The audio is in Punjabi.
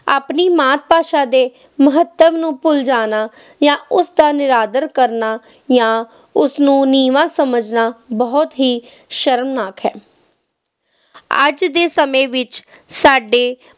ਆਪਣੀ ਮਾਤ ਭਾਸ਼ਾ ਦੇ ਮਹੱਤਵ ਨੂੰ ਭੁੱਲ ਜਾਣਾ ਜਾਂ ਉਸ ਦਾ ਨਿਰਾਦਰ ਕਰਨਾ ਜਾਂ ਉਸ ਨੂੰ ਨੀਵਾਂ ਸਮਝਣਾ ਬਹੁਤ ਹੀ ਸ਼ਰਮਨਾਕ ਹੈ ਅੱਜ ਦੇ ਸਮੇਂ ਵਿੱਚ ਸਾਡੇ